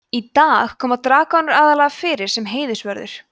í dag koma dragónar aðallega fyrir sem heiðursvörður